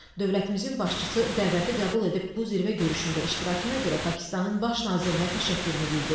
Dövlətimizin başçısı dəvəti qəbul edib bu zirvə görüşündə iştirakına görə Pakistanın Baş nazirinə təşəkkürünü bildirdi.